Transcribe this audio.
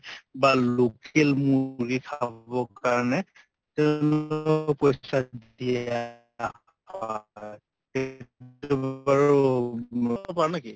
বা local মূৰ্গী খাবৰ কাৰণে